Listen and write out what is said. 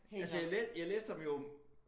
Altså jeg læ jeg læste ham jo